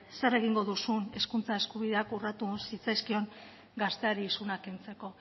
zer egingo duzun hizkuntza eskubideak urratu zitzaizkion gazteari isuna kentzeko